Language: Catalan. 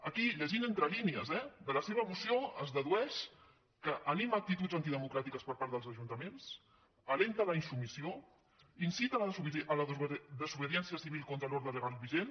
aquí llegint entre línies eh de la seva moció es dedueix que anima a actituds antidemocràtiques per part dels ajuntaments encoratja la insubmissió i incita la desobediència civil contra l’ordre legal vigent